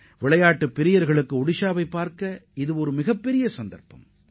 விளையாட்டு வீரர்கள் ஒடிஷாவைக் காண இது ஒரு அரிய வாய்ப்பாகும்